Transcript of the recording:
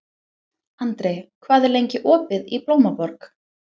Andri, hvað er lengi opið í Blómaborg?